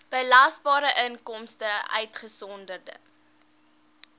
belasbare inkomste uitgesonderd